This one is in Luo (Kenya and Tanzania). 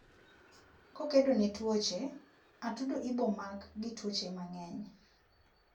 kokedo ne twoche, atudogi ibomak gi twuoche mangeny